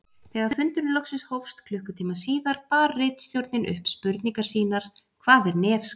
Þegar fundurinn loksins hófst klukkutíma síðar bar ritstjórnin upp spurningar sínar: Hvað er nefskattur?